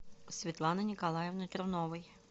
светланы николаевны труновой